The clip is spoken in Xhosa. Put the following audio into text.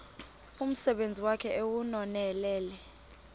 umsebenzi wakhe ewunonelele